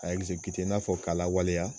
A i n'a fɔ k'a lawaleya.